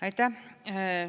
Aitäh!